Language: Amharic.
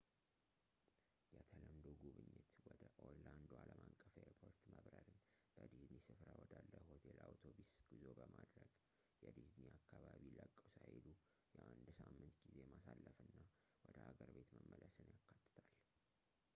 የተለምዶ ጉብኝት ወደ ኦርላንዶ አለም አቀፍ ኤርፖርት መብረርን በዲዝኒ ስፍራ ወዳለ ሆቴል የአውቶቢስ ጉዞ ማድረግ የዲዝኒን አካባቢ ለቀው ሳይሄዱ የአንድ ሳምንት ጊዜ ማሳለፍና ወደ ሀገር ቤት መመለስን ያካትታል